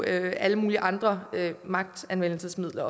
alle mulige andre magtanvendelsesmidler